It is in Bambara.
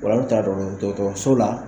Ola an be taa dɔgɔtɔrɔ dɔgɔtɔrɔso la